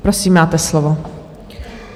Prosím, máte slovo.